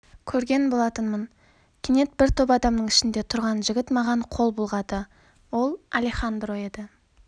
көрген болатынмын кенет бір топ адамның ішінде тұрған жігіт маған қол бұлғады ол алехандро еді